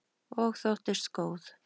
Og þóttist góð.